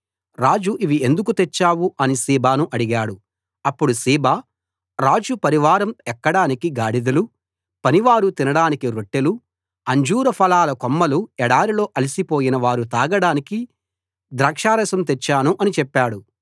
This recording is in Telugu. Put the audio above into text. రాజు ఇవి ఎందుకు తెచ్చావు అని సీబాను అడిగాడు అప్పుడు సీబా రాజు పరివారం ఎక్కడానికి గాడిదలు పనివారు తినడానికి రొట్టెలు అంజూర ఫలాల కొమ్మలు ఎడారిలో అలసిపోయిన వారు తాగడానికి ద్రాక్షారసం తెచ్చాను అని చెప్పాడు